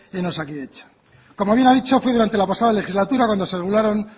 en osakidetza como bien ha dicho fue durante la pasada legislatura cuando se regularon